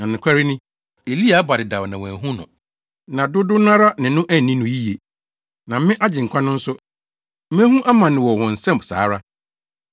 Na nokware ni, Elia aba dedaw na wɔanhu no, na dodow no ara ne no anni no yiye. Na me, Agyenkwa no nso, mehu amane wɔ wɔn nsam saa ara.”